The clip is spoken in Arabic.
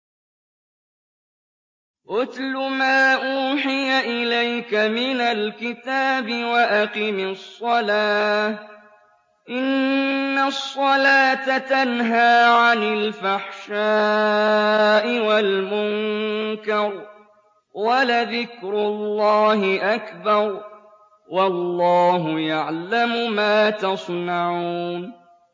اتْلُ مَا أُوحِيَ إِلَيْكَ مِنَ الْكِتَابِ وَأَقِمِ الصَّلَاةَ ۖ إِنَّ الصَّلَاةَ تَنْهَىٰ عَنِ الْفَحْشَاءِ وَالْمُنكَرِ ۗ وَلَذِكْرُ اللَّهِ أَكْبَرُ ۗ وَاللَّهُ يَعْلَمُ مَا تَصْنَعُونَ